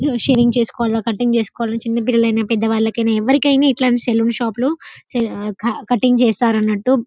Shaving చేసుకువలా cutting చేసుకోవాలా చిన్న పిల్లల్లయినా పెద్దవాలకైన ఎవరికైన ఇట్లాంటి సలోన్ షాపులో కటింగ్ చేస్తారనట్టు.